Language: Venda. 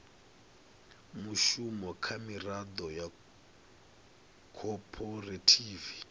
mushumo kha miraḓo ya khophorethivi